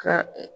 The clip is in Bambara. Ka